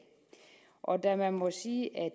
og da man må sige at